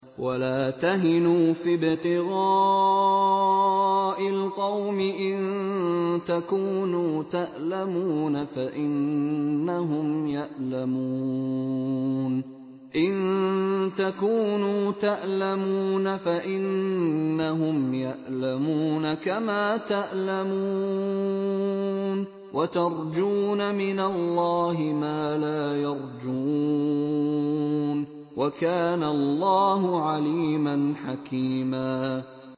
وَلَا تَهِنُوا فِي ابْتِغَاءِ الْقَوْمِ ۖ إِن تَكُونُوا تَأْلَمُونَ فَإِنَّهُمْ يَأْلَمُونَ كَمَا تَأْلَمُونَ ۖ وَتَرْجُونَ مِنَ اللَّهِ مَا لَا يَرْجُونَ ۗ وَكَانَ اللَّهُ عَلِيمًا حَكِيمًا